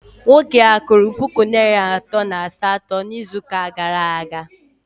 Nwoke a kwụrụ puku naịra atọ na asatọ n'izuụka gara aga?